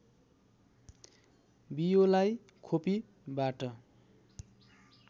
बियोलाई खोपीबाट